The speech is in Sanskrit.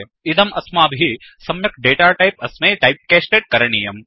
इदम् अस्माभिः सम्यक् डेटाटैप् अस्मै टाइपकास्टेड् करणीयम्